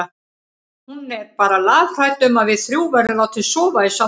Hún er bara lafhrædd um að við þrjú verðum látin sofa í sama rúmi.